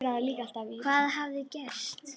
Hvað hafði gerst?